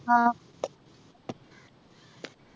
ആഹ്